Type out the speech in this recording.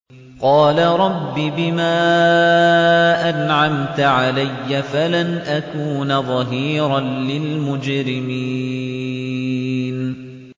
قَالَ رَبِّ بِمَا أَنْعَمْتَ عَلَيَّ فَلَنْ أَكُونَ ظَهِيرًا لِّلْمُجْرِمِينَ